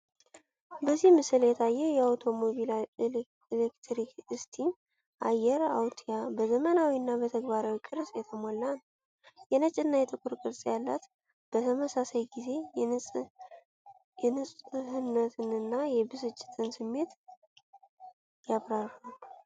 በዚህ ምስል የታየው የአውቶሞቢል ኤሌክትሪክ እስቲም አየር አውትያ በዘመናዊ እና በተግባራዊ ቅርጽ የተሞላ ነው። የነጭ እና የጥቁር ቅርጸ ቃላት በተመሳሳይ ጊዜ የንፁህነትን እና የብስጭትን ስሜት ያበራሉ።